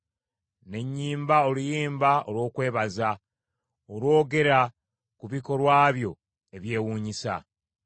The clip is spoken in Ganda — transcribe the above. ne nnyimba oluyimba olw’okwebaza, olwogera ku bikolwa byo ebyewuunyisa.